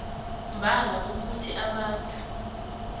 mbala kukuthi abantu